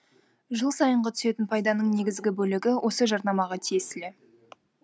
жыл сайынғы түсетін пайданың негізгі бөлігі осы жарнамаға тиесілі